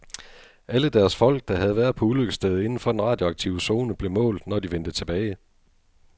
Alle deres folk, der havde været på ulykkesstedet inden for den radioaktive zone, blev målt, når de vendte tilbage.